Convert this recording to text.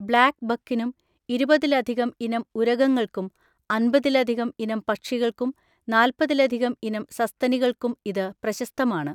Black ബക്കിനും, ഇരുപതിലധികം ഇനം ഉരഗങ്ങൾക്കും, അമ്പതിലധികം ഇനം പക്ഷികൾക്കും, നാല്പതിലധികം ഇനം സസ്തനികൾക്കും ഇത് പ്രശസ്തമാണ്.